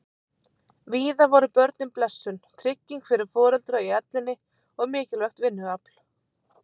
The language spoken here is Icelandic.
Víða voru börnin blessun, trygging fyrir foreldra í ellinni og mikilvægt vinnuafl.